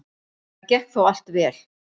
Það gekk þó allt vel.